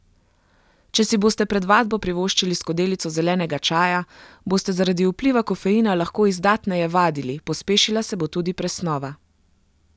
Če si boste pred vadbo privoščili skodelico zelenega čaja, boste zaradi vpliva kofeina lahko izdatneje vadili, pospešila se bo tudi presnova.